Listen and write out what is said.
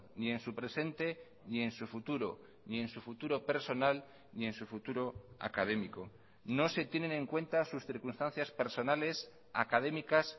ni en su presente ni en su futuro ni en su futuro personal ni en su futuro académico no se tienen en cuenta sus circunstancias personales académicas